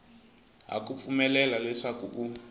ha ku pfumelela leswaku u